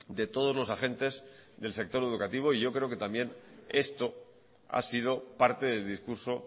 de todos los agentes del sector educativo y yo creo que también esto ha sido parte del discurso